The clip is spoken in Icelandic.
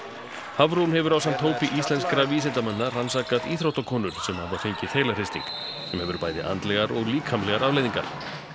Hafrún hefur ásamt hópi íslenskra vísindamanna rannsakað íþróttakonur sem hafa fengið heilahristing sem hefur bæði andlegar og líkamlegar afleiðingar